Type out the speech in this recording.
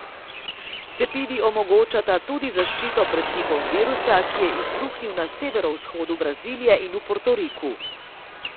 Cepivi omogočata tudi zaščito pred tipom virusa, ki je izbruhnil na severovzhodu Brazilije in v Portoriku.